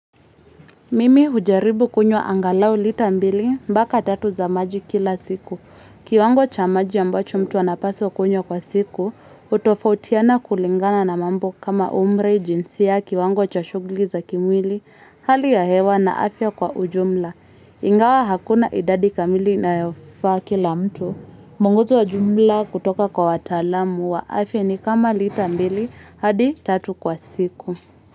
Mimi hujaribu kunyo angalau litambili mbaka tatu za maji kila siku. Kiwango cha maji ambacho mtu anapaso kunyo kwa siku, utofautiana kulingana na mambo kama umre jinsi ya kiwango cha shugli za kimwili, hali ya hewa na afya kwa ujumla. Ingawa hakuna idadi kamili na yofa kila mtu. Munguzi wa jumla kutoka kwa watalamu wa afya ni kama litambili hadi tatu kwa siku.